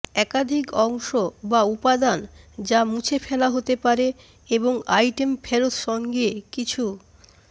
একাধিক অংশ বা উপাদান যা মুছে ফেলা হতে পারে এবং আইটেম ফেরত সঙ্গে কিছু